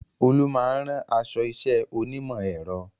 Olú máa ń rán aṣọ iṣẹ́ onímọ̀ ẹ̀rọ